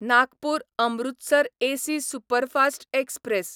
Nagpur Amritsar AC superfast express